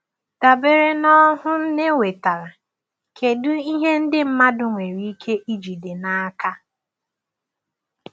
Dabere n’ọhụụ Nne nwetara, kedu ihe ndị mmadụ nwere ike ijide n’aka?